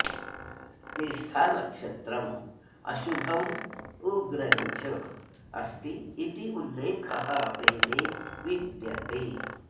ज्येष्ठानक्षत्रम् अशुभम् उग्रञ्च अस्ति इति उल्लेखः वेदे विद्यते